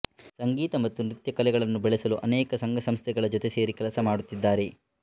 ಸಂಗೀತ ಮತ್ತು ನೃತ್ಯ ಕಲೆಗಳನ್ನು ಬೆಳೆಸಲು ಅನೇಕ ಸಂಘ ಸಂಸ್ಥೆಗಳ ಜೊತೆ ಸೇರಿ ಕೆಲಸಮಾಡುತ್ತಿದ್ದಾರೆ